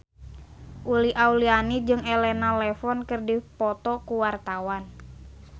Uli Auliani jeung Elena Levon keur dipoto ku wartawan